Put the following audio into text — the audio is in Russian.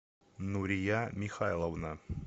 нурия михайловна